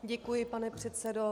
Děkuji, pane předsedo.